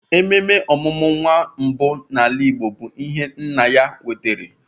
Ememe ọmụmụ nwa mbụ n'ala Igbo bụ ihe nna ya nwere.